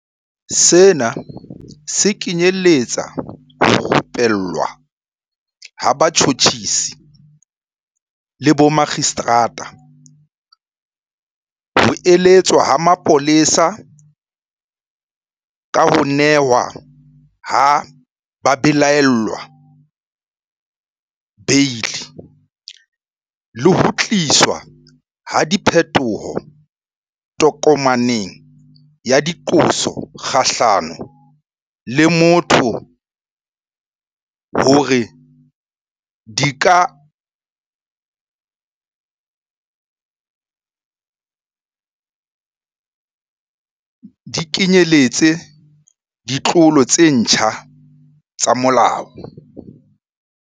Sena se kenyeletsa ho rupellwa ha batjhotjhisi le bomakgistrata, ho eletswa ha mapolesa ka ho nehwa ha babelaellwa beili, le ho tliswa ha diphetoho tokomaneng ya diqoso kgahlano le motho hore di kenyeletse ditlolo tse ntjha tsa molao.